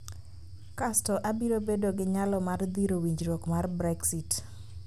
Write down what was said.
Kasto obiro bedo gi nyalo mar dhiro winjruok mar Brexit